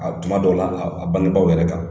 A tuma dɔw la, a bangebaw yɛrɛ kan!